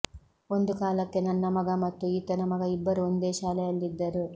ಒಂದು ಕಾಲಕ್ಕೆ ನನ್ನ ಮಗ ಮತ್ತು ಈತನ ಮಗ ಇಬ್ಬರೂ ಒಂದೇ ಶಾಲೆಯಲ್ಲಿದ್ದರು